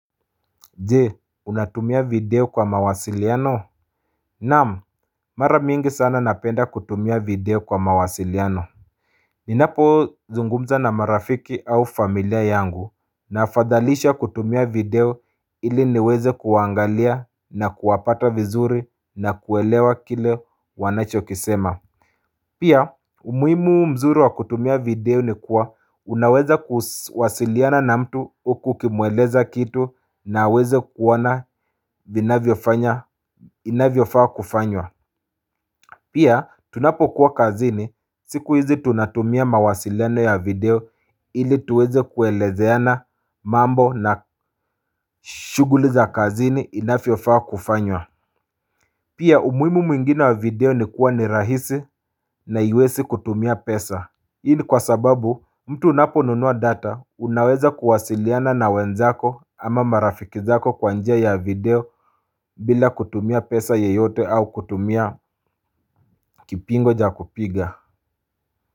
Je, unatumia video kwa mawasiliano? Naam, mara mingi sana napenda kutumia video kwa mawasiliano. Ninapozungumza na marafiki au familia yangu, napendelea kutumia video ili niweze kuangalia na kuwapata vizuri na kuelewa kile wanachosema. Pia umuhimu mzuri wa kutumia video ni kuwa unaweza kuwasiliana na mtu huku ukimueleza kitu na aweze kuona inavyofaa kufanywa. Pia tunapokuwa kazini, siku hizi tunatumia mawasiliano ya video ili tuweze kuelezeana mambo na shughuli za kazini inavyofaa kufanywa. Pia umuhimu mwingine wa video ni kuwa ni rahisi na haiwezi kutumia pesa nyingi, kwa sababu mtu unaponunua data unaweza kuwasiliana na wenzako ama marafiki zako kwa njia ya video. Bila kutumia pesa yoyote au kutumia kipigo cha kupiga.